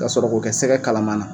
Ka sɔrɔ k'o kɛ sɛgɛgɛ kalaman na